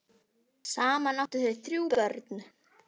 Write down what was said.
Saman áttu þau þrjú börn.